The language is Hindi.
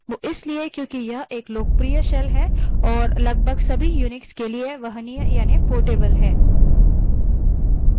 वो इसलिए क्योंकि यह एक लोकप्रिय shell है और लगभग सभी unix के लिए वहनीय यानि portable है